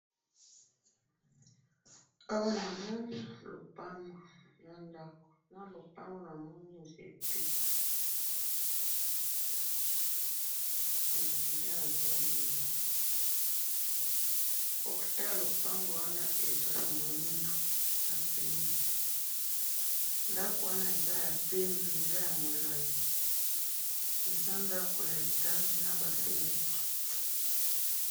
Awa namoni lopango nandako, nalopango namoni nzete, nde nazomonaawa, portaille yalopangu wana eza mwindu na pembe, ndako wana eza yapembe, eza yamulayi, eza ndako ya étage naba feunetre.